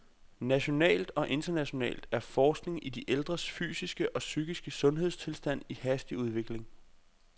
Nationalt og internationalt er forskning i de ældres fysiske og psykiske sundhedstilstand i hastig udvikling.